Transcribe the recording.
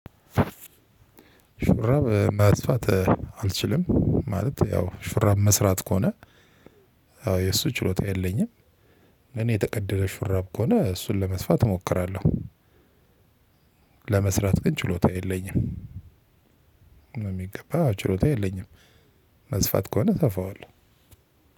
ሹራብ መጥፋት አልችልም ማለት ያው ሹራብ መስራት ከሆነ የእሱ ችሎታ የለኝም። እኔ የተቀደደ ሹራብ ከሆነ እሱን ለመስፋት እሞክራለሁ። ለመስራት ችሎታ የለኝም በሚገባ ችሎታ የለኝም መስፋት ከሆነ ተፋዋለሁ